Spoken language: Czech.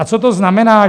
A co to znamená?